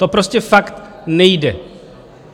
To prostě fakt nejde.